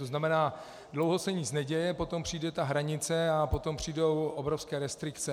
To znamená, dlouho se nic neděje, potom přijde ta hranice a potom přijdou obrovské restrikce.